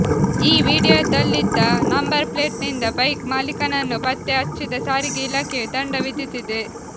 ಈ ವೀಡಿಯೊದಲ್ಲಿದ್ದ ನಂಬರ್ ಪ್ಲೇಟ್ನಿಂದ ಬೈಕ್ ಮಾಲೀಕನನ್ನು ಪತ್ತೆ ಹಚ್ಚಿದ ಸಾರಿಗೆ ಇಲಾಖೆಯು ದಂಡ ವಿಧಿಸಿದೆ